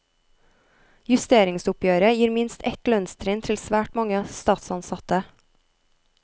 Justeringsoppgjøret gir minst ett lønnstrinn til svært mange statsansatte.